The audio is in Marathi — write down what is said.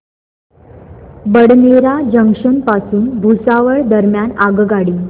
बडनेरा जंक्शन पासून भुसावळ दरम्यान आगगाडी